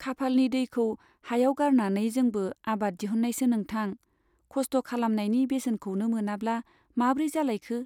खाफालनि दैखौ हायाव गारनानै जोंबो आबाद दिहुननायसो नोंथां। खस्थ' खालामनायनि बेसेनखौनो मोनाब्ला माब्रै जालायखो ?